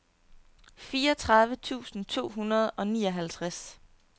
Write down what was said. fireogtredive tusind to hundrede og nioghalvtreds